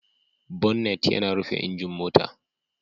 Bonnet yana rufe injin mota.